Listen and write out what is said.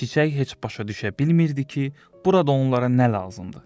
Çiçək heç başa düşə bilmirdi ki, burada onlara nə lazımdır.